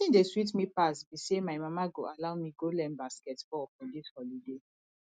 wetin dey sweet me pass be say my mama go allow me go learn basket ball for dis holiday